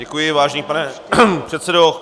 Děkuji, vážený pane předsedo.